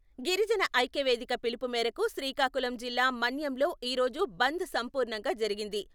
గిరిజన ఐక్య వేదిక పిలుపు మేరకు శ్రీకాకుళం జిల్లా మన్యంలో ఈ రోజు బంద్ సంపూర్ణంగా జరిగింది.